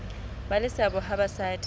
ba le seabo ha basadi